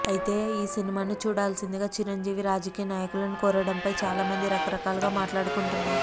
అయితే ఈ సినిమాను చూడాల్సిందిగా చిరంజీవి రాజకీయనాయకులను కోరడం ఫై చాలామంది రకరకాలుగా మాట్లాడుకుంటున్నారు